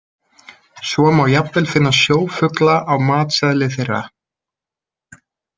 Svo má jafnvel finna sjófugla á matseðli þeirra.